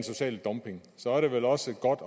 sociale dumping og så er det vel også godt